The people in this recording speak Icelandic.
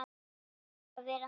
Ég þarf að vera þar.